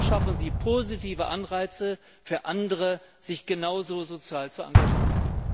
So schaffen sie positive Anreize für andere, sich genauso sozial zu engagieren.